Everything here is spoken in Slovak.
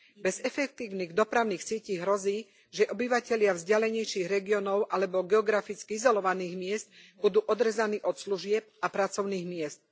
Bez efektívnych dopravných sietí hrozí, že obyvatelia vzdialenejších regiónov alebo geograficky izolovaných miest budú odrezaní od služieb a pracovných miest.